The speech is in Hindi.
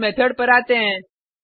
अब इस मेथड पर आते हैं